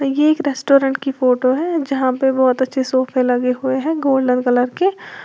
ये एक रेस्टोरेंट की फोटो है जहां पे बहोत अच्छे सोफे लगे हुए हैं गोल्डन कलर के।